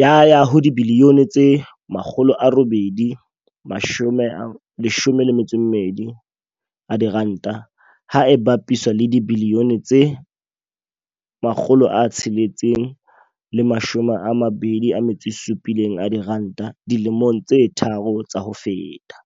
ya ya ho dibilione tse R812, ha e bapiswa le dibilione tse R627 dilemong tse tharo tsa ho feta.